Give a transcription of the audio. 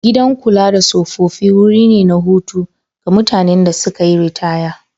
Gidan kula da tsofaffi wuri ne na hutu ga mutanen da suka yi ritaya.